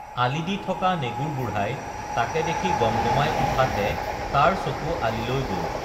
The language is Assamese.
আলি দি থকা নেগুৰ বুঢ়াই তাকে দেখি গমগমাই উঠাত হে তাৰ চকু আলিলৈ গল